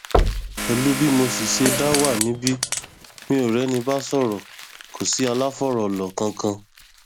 pẹlú bí mo sì ṣe dá wà níbi mi ò rẹni bá sọrọ kò sí aláfòrílò kankan